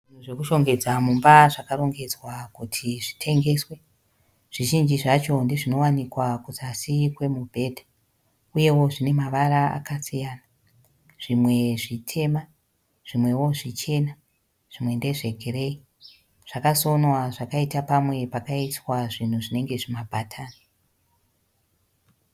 Zvinhu zvekushongedza mumba zvakarongedzwa kuti zvitengeswe. Zvizhinji zvacho ndozvinowanikwa kuzasi kwemubhedha. Uyewo zvinemavara akasiyana. Zvimwe zvitema, zvimwewo zvichena zvimwe ndezvegireyi. Zvakasonwa zvakaita pamwe pakaiswa zvinhu zvinenge zvimabhatani.